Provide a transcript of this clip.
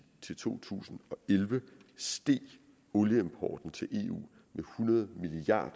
til to tusind og elleve steg olieimporten til eu med hundrede milliard